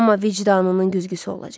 Amma vicdanının güzgüsü olacaq.